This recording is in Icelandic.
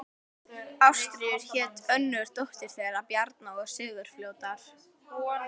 Ástríður hét önnur dóttir þeirra Bjarna og Sigurfljóðar.